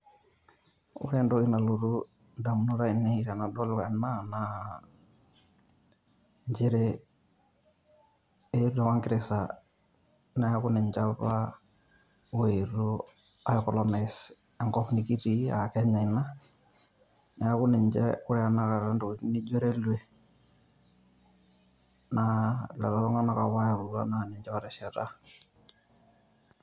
Ore entoki nalotu indamunot ainei tenadol ena, naa njere Ingeresa neeku ninche apa oetuo aikolonais enkop nikitii ah Kenya ina, neeku ninche ore tanakata ntokiting nijo Railway ,naa lelo tung'anak napa oyautua ninche na otesheta.